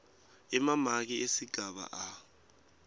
emamaki esigaba a